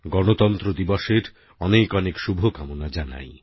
গণতন্ত্র দিবসের অনেক অনেক শুভকামনা জানাই